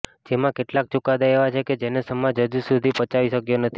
જેમાં કેટલાક ચૂકાદા એવા છે કે જેને સમાજ હજુ સુધી પચાવી શકયો નથી